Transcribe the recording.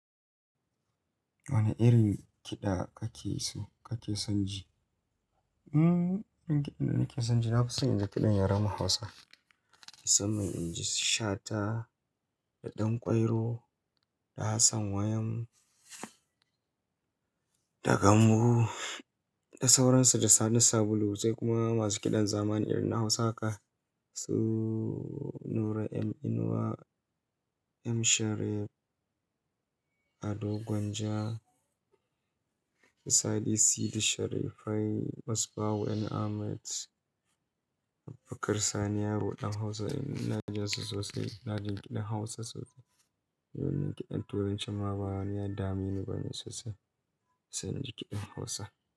Wane irin kiɗa kake so kake son ji? Mm, irin kiɗan da nake son ji na son in ji kiɗan Yaren Hausa. Musamman ma inji Shata da Ɗanƙwairo da Hassan Wayam da Gambu da sauransu da Sani Sabulu sai kuma masu kiɗan zamani irin na Hausa su Nura M Inuwa, M Sharif, Ado Gwanja, Sadi Sidi Sharifai, Musbahu N Ahmed, Abubakar Sani Yaro Ɗan Hausa. Ina jin su sosai. Na ji kiɗan Hausa sosai. Domin ma kiɗan Turanci ma bana yi, damuna bane sosai. Sai in ji kiɗan Hausa.